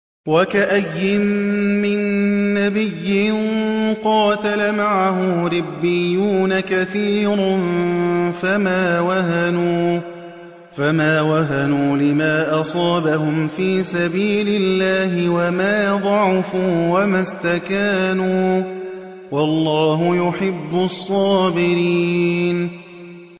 وَكَأَيِّن مِّن نَّبِيٍّ قَاتَلَ مَعَهُ رِبِّيُّونَ كَثِيرٌ فَمَا وَهَنُوا لِمَا أَصَابَهُمْ فِي سَبِيلِ اللَّهِ وَمَا ضَعُفُوا وَمَا اسْتَكَانُوا ۗ وَاللَّهُ يُحِبُّ الصَّابِرِينَ